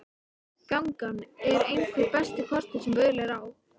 Gangan er einhver besti kostur sem völ er á.